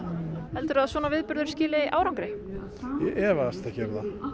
helduru að svona viðburður skili árangri ég efast ekki um